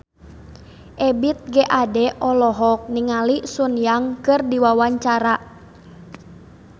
Ebith G. Ade olohok ningali Sun Yang keur diwawancara